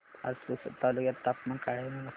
आज पुसद तालुक्यात तापमान काय आहे मला सांगा